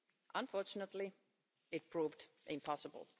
Unfortunately it proved impossible.